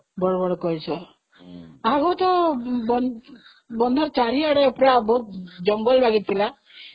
ବଡ଼ ବଡ଼ କଇଁଛଆଗରୁ ତ ବନ୍ଧ ଚାରିଆଡେ ସବୁ ଜଙ୍ଗଲ ଲାଗିଥିଲା